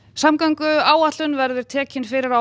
samgönguáætlun verður tekin fyrir á